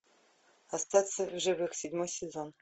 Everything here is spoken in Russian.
остаться в живых седьмой сезон